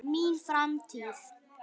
Mín framtíð?